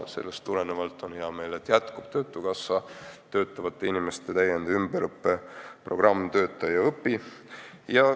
Sellest tulenevalt on mul hea meel, et jätkub töötukassas käivitatud töötavate inimeste täiendus- ja ümberõppe programm "Tööta ja õpi".